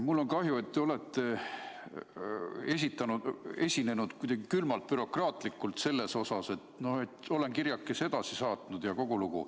Mul on kahju, et te olete esinenud kuidagi külmalt, bürokraatlikult, et noh olen kirjakese edasi saatnud ja kogu lugu.